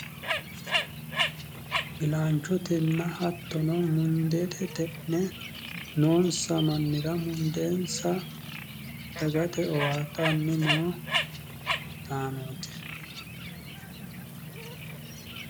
ilaanchotenna hattono mundeete xe'ne noonsa mannira mundeensa dagate owaattanni noo mannootaati.